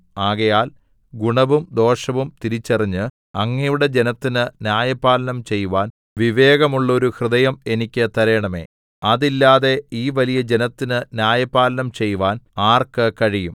ആകയാൽ ഗുണവും ദോഷവും തിരിച്ചറിഞ്ഞ് അങ്ങയുടെ ജനത്തിന് ന്യായപാലനം ചെയ്‌വാൻ വിവേകമുള്ളോരു ഹൃദയം എനിക്ക് തരേണമേ അതില്ലാതെ ഈ വലിയ ജനത്തിന് ന്യായപാലനം ചെയ്‌വാൻ ആർക്ക് കഴിയും